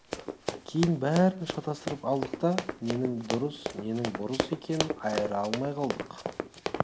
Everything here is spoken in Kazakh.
кейін бәрін шатастырып алдық та ненің дұрыс ненің бұрыс екенін айыра алмай қалдық